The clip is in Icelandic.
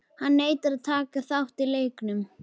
Hann neitar að taka þátt í leiknum.